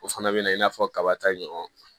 O fana bɛ na i n'a fɔ kaba ta in ɲɔgɔn